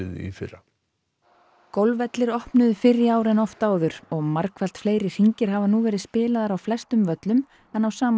í fyrra golfvellir opnuðu fyrr í ár en oft áður og margfalt fleiri hringir hafa nú verið spilaðir á flestum völlum en á sama